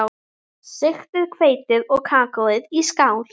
Sigtið hveitið og kakóið í skál.